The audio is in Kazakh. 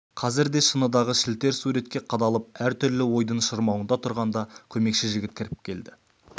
қазір де шыныдағы шілтер суретке қадалып әр түрлі ойдың шырмауында тұрғанда көмекші жігіт кіріп келді